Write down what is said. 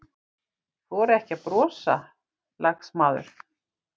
Þora ekki að brosa, lagsmaður.